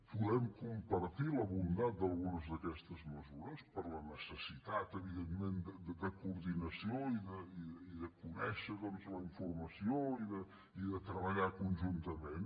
podem compartir la bondat d’algunes d’aquestes mesures per la necessitat evidentment de coordinació i de conèixer la informació i de treballar conjuntament